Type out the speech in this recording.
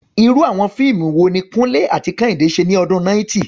Irú àwọn fíìmù wo ni Kunle àti Kehinde ṣe ní ọdún 90?